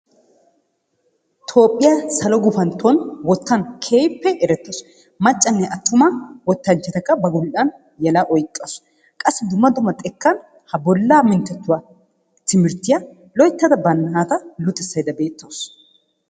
Tophiyaa salo gufanto wottan kehippe eretawusu, maccanne atuma wottanchatta ba gomfanni yella oyqasu. Qassi dumma dumma ha bolla minttetuwaa loyttada ba nata luxissayda betawusu.